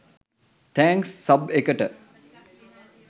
thanks සබ් එකට